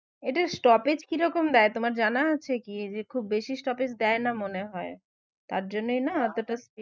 এদের stoppage কি রকম দেয় তোমার জানা আছে কী? যে খুব বেশি stoppage দেয়না মনে হয়, তার জন্যই না অতোটা